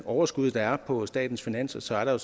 overskud der er på statens finanser er der